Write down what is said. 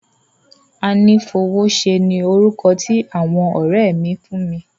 Anífowóṣe ni orúkọ tí àwọn ọ̀rẹ́ mi fún mi.